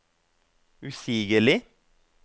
usigelig